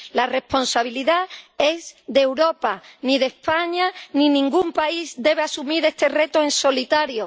La responsabilidad es de Europa ni España ni ningún país debe asumir este reto en solitario.